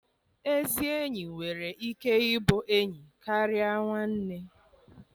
Ezi enyi nwere ike ịbụ enyi karịa nwanne.